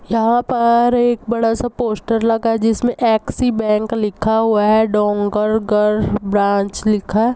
यहाँ पर एक बड़ा- सा पोस्टर लगा हुआ है जिसमें ऐक्सी बैंक लिखा हुआ है डोंगरगढ़ ब्रांच लिखा हैं।